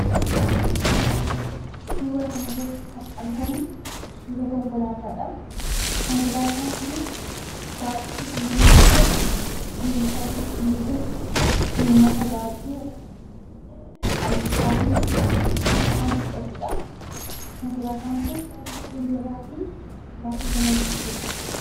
Suura kanarratti kan argamu suura konkolaataadha. Konkolaataan kunis baay'ee kan namatti tolu, deemsaafis kan mijatu, uummata baay'ee altakkaatiin kan fudhatudha. Konkolaataan kun baay'ee mijataa fi baay'ee kan namatti toludha.